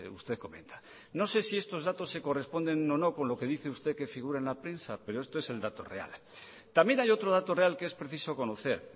usted comenta no sé si estos datos se corresponden o no con lo que dice usted que figura en la prensa pero esto es el dato real también hay otro dato real que es preciso conocer